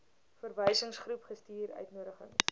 verwysingsgroep gestuur uitnodigings